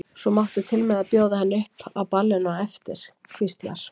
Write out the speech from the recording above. Svo máttu til með að bjóða henni upp á ballinu á eftir, hvíslar